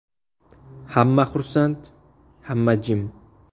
Hamma xursand, hamma jim.